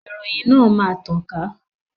Ìròyìn náà máa tàn ká